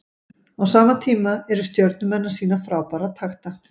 Á sama tíma eru Stjörnumenn að sýna frábæra takta.